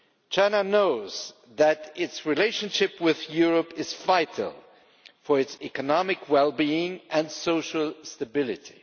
China knows that its relationship with Europe is vital for its economic well being and social stability.